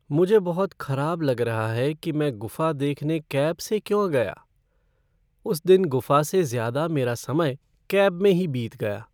मुझे बहुत कराब लग रहा है कि मैं गुफ़ा देखने कैब से क्यों गया। उस दिन गुफ़ा से ज़्यादा मेरा समय कैब में ही बीत गया।